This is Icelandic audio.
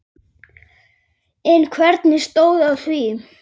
En hvernig stóð á því?